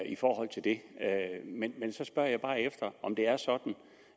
i forhold til det men så spørger jeg bare efter om det er sådan